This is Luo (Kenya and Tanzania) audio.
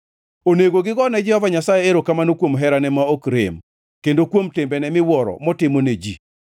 Onego gigo ne Jehova Nyasaye erokamano kuom herane ma ok rem, kendo kuom timbene miwuoro motimo ne ji,